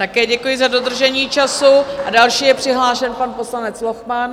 Také děkuji za dodržení času a další je přihlášen pan poslanec Lochman.